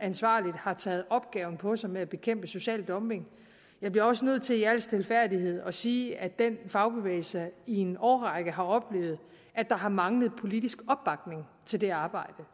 ansvarligt har taget opgaven på sig med at bekæmpe social dumping jeg bliver også nødt til i al stilfærdighed at sige at den fagbevægelse i en årrække har oplevet at der har manglet politisk opbakning til det arbejde